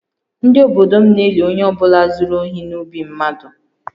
Ndị obodo m na-eli onye ọ bụla zuru ohi n’ubi mmadụ